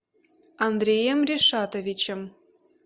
андреем ришатовичем